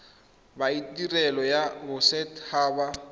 ba tirelo ya boset haba